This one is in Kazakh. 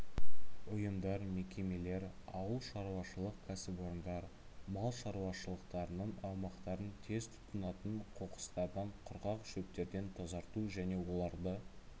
ұйымдар мекемелер ауылшаруашылық кәсіпорындар мал шаруашылықтарының аумақтарын тез тұтанатын қоқыстардан құрғақ шөптерден тазарту және оларды